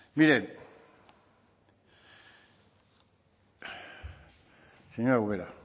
miren señora ubera